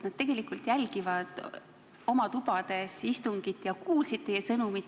Nad tegelikult jälgivad istungit oma tubades ja kuulsid teie sõnumit.